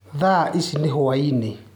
Thaici ni hwaĩnĩ